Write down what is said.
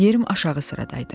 Yerim aşağı sırada idi.